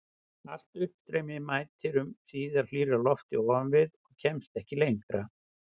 Allt uppstreymi mætir um síðir hlýrra lofti ofan við og kemst ekki lengra.